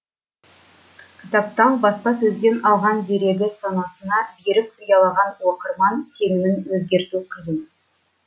кітаптан баспасөзден алған дерегі санасына берік ұялаған оқырман сенімін өзгерту қиын